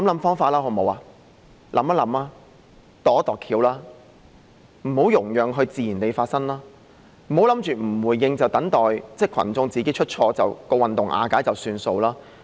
想一想，"度一度橋"，不要讓它自然地發生，不要以為不回應，等待群眾自己出錯，運動瓦解便算數。